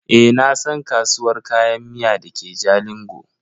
Eh nasan kasuwar Kayan miya dake jalingo.